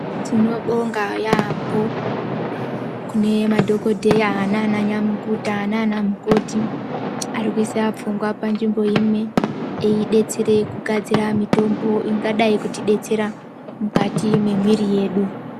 Tinobonga yambo kune madhokoteya nana nyamukuta nana mukoti arikuisa pfungwa panzvimbo imwe iedetsere kugadzira mitombo ingadai kuti detsera mukati memwiri yedu.